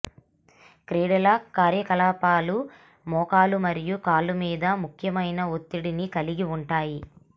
క్రీడల కార్యకలాపాలు మోకాలు మరియు కాళ్ళ మీద ముఖ్యమైన ఒత్తిడిని కలిగి ఉంటాయి